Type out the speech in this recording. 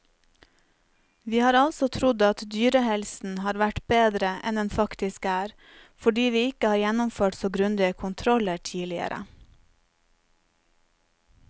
Vi har altså trodd at dyrehelsen har vært bedre enn den faktisk er, fordi vi ikke har gjennomført så grundige kontroller tidligere.